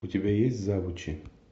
у тебя есть завучи